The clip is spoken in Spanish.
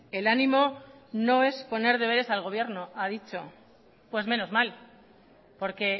el ánimo no es poner deberes al gobierno ha dicho pues menos mal porque